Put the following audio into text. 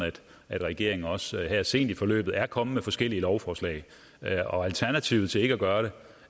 at regeringen også her sent i forløbet er kommet med forskellige lovforslag og alternativet til ikke at gøre det